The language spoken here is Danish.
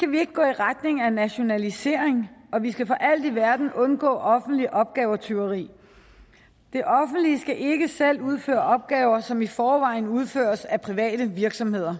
vi ikke gå i retning af nationalisering og vi skal for alt i verden undgå offentligt opgavetyveri det offentlige skal ikke selv udføre opgaver som i forvejen udføres af private virksomheder